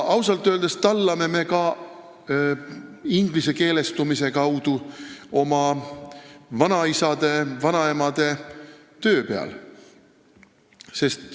Ausalt öeldes tallame me ingliskeelestumisega oma vanaisade ja vanaemade töö peal.